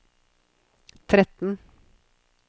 tretten